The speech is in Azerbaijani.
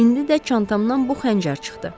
İndi də çantamdan bu xəncər çıxdı.